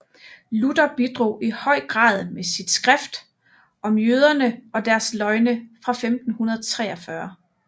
Luther bidrog i høj grad med sit skrift Om jøderne og deres løgne fra 1543